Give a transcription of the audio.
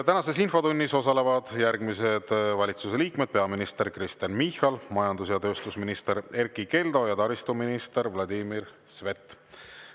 Tänases infotunnis osalevad järgmised valitsuse liikmed: peaminister Kristen Michal, majandus‑ ja tööstusminister Erkki Keldo ja taristuminister Vladimir Svet.